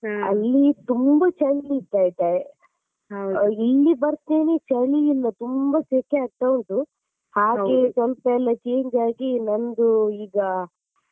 ಅಲ್ಲಿ ತುಂಬಾ ಚಳಿ ಇತ್ತು ಆಯ್ತಾ ಇಲ್ಲಿ ಬರ್ತೆನೆ ಚಳಿ ಇಲ್ಲ ತುಂಬಾ ಸೆಕೆ ಆಗ್ತಾ ಉಂಟು ಹಾಗೆ ಸ್ವಲ್ಪ ಎಲ್ಲ change ಆಗಿ ನಂದು ಈಗ.